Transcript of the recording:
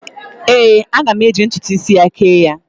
Ee, aga m eji ntụtụ isi ya kee ya.